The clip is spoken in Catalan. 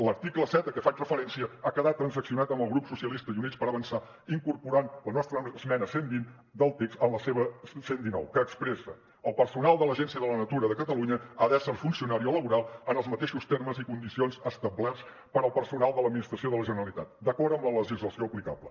l’article set a que fa referència ha quedat transaccionat amb el grup socialista i units per avançar i incorpora la nostra esmena cent i vint del text en la seva cent i dinou que expressa el personal de l’agència de la natura de catalunya ha d’ésser funcionari o laboral en els mateixos termes i condicions establerts per al personal de l’administració de la generalitat d’acord amb la legislació aplicable